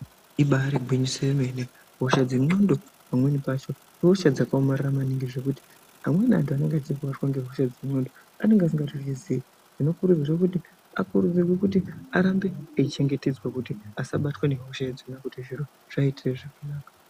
Ibari gwinyiso remene hosha dzengonxo pamweni pacho hosha dzakaomarara maningi zvekuti amweni antu anenge achirwadziwa nehosha idzi ngekuti anenge asingatozivi zvinokurudzirwa kuti arambe eichengetedzwa kuti asabatwa nehosha dzinodzi kuti zviite zvakanaka.